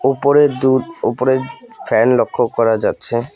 ওপরে দু ওপরে ফ্যান লক্ষ্য করা যাচ্ছে।